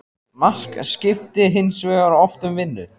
Mark skipti hins vegar oft um vinnu.